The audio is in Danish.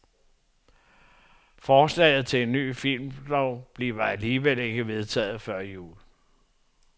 Forslaget til en ny filmlov bliver alligevel ikke vedtaget før jul.